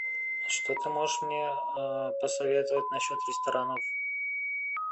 что ты можешь мне посоветовать насчет ресторанов